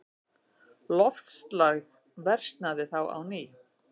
Loftslag versnaði þá á ný.